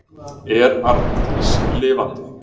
Er Arndís lifandi?